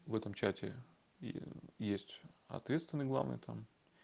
в этом чате и есть ответственный главный там